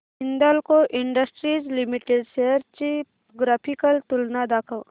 Hindalco industries limited shares ची graphical तुलना दाखव